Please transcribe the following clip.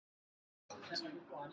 Þetta er rangt